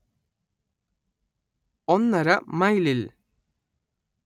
ഒന്നര മൈലിൽ